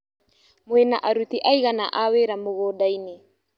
Mwĩna aruti aigana a wĩra mũgũndainĩ.